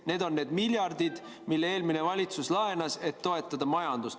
Need on need miljardid, mis eelmine valitsus laenas, et toetada majandust.